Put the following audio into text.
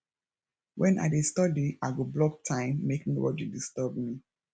when i dey study i go block time make nobody disturb me